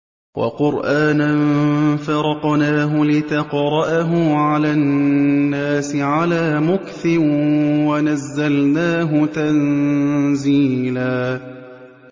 وَقُرْآنًا فَرَقْنَاهُ لِتَقْرَأَهُ عَلَى النَّاسِ عَلَىٰ مُكْثٍ وَنَزَّلْنَاهُ تَنزِيلًا